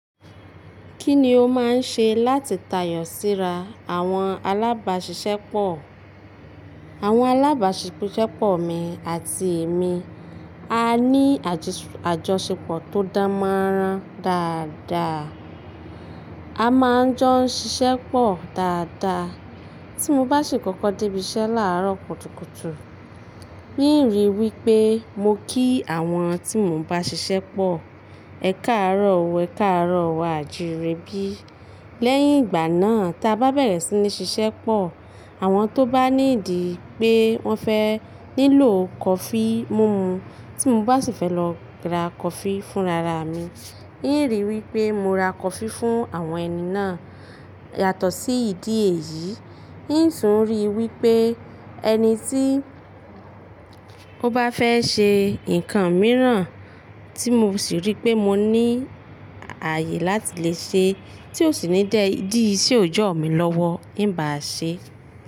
Kí ni o máa ń ṣe láti tàyọ̀ síra àwọn alábàṣiṣẹ́pọ̀? Àwọn alábàṣiṣẹ́pọ̀ mi àti èmi á ní àjọṣepọ̀ tó dán mọ́ran dáadáa. A máa ń jọ ń ṣiṣẹ́pọ̀ dáadáa. Tí mo bá sì kọ́kọ́ dé ibiṣẹ́ láàárọ̀ kùtùkùtù, n ìrì wí pé mo kí àwọn tí mò ń bá ṣiṣẹ́pọ̀ "Ẹ káàárọ̀ o, ẹ káàárọ̀ wa" àjire bí. Lẹ́yìn ìgbà náà tá a bá bẹ̀rẹ̀ sí ní ṣiṣẹ́pọ̀, àwọn tó bá ní ìdí pé wọ́n fẹ́ nílò kọfí múmu tí mo bá sì fẹ́ lọ ra kọfí fún rara mi, n ìrì wí pé mo ra kọfí fún àwọn ẹni náà. Yàtọ̀ sí ìdí èyí, n sì ń rí i wí pé ẹni tí ó bá fẹ́ ṣe nǹkan mìíràn tí mo sì rí pé mo ní ààyè láti lè ṣe tí ó sì ní jẹ́ ìdí ṣe ò jọ̀ mí lọ́wọ́, n bà á ṣe.